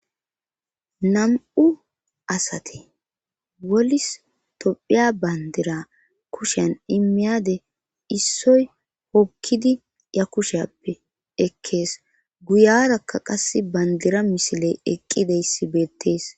nam'u asate wolis topphiya bandira kushen imiyade issoy hokkidi ya kusheappe ekkees guyarakka qass bandira misile eqqideyssi beettees